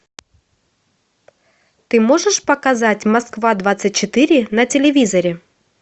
ты можешь показать москва двадцать четыре на телевизоре